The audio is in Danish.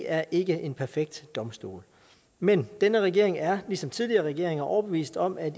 er ikke en perfekt domstol men denne regering er ligesom tidligere regeringer overbevist om at